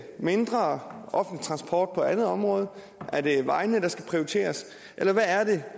mindre offentlig transport på andre områder er det vejene der skal prioriteres eller hvad er det